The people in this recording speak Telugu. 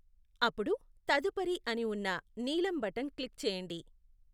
అప్పుడు తదుపరి అని ఉన్న నీలం బటన్ క్లిక్ చేయండి.